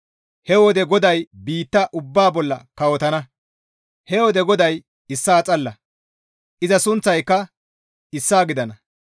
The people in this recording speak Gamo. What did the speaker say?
He wode GODAY biitta ubbaa bolla kawotana; he wode GODAY issaa xalla; iza sunththayka issaa gidana.